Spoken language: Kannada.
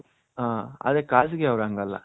ಆ ಆದ್ರೆ ಖಾಸಗಿ ಅವರು ಅಂಗ ಅಲ್ಲ .